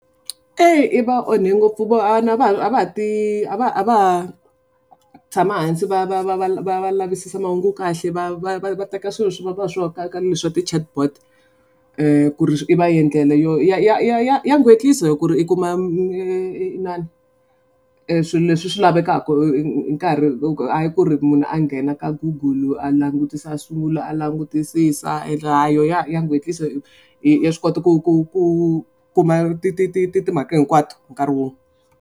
Eyi i va onhe ngopfu a va ti a va ha tshama hansi va va va va va lavisisa mahungu kahle va va va teka swilo swi vonaka leswo ti-chartboard. Ku ri i va endlela yo ya ya ku ri i kuma inana swilo leswi swi lavekako nkarhi hayi ku ri munhu a nghena ka Google a langutisa swivulwa a langutisisa a a yona ya . Ya swi kota ku kuma ti ti ti mhaka hi kwato hi nkarhi wun'we.